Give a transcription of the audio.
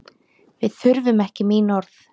Við þurfum ekki mín orð.